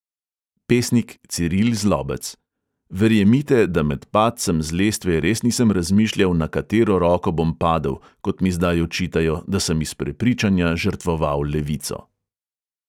Pesnik ciril zlobec: "verjemite, da med padcem z lestve res nisem razmišljal, na katero roko bom padel, kot mi zdaj očitajo, da sem iz prepričanja žrtvoval levico."